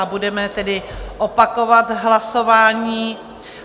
A budeme tedy opakovat hlasování.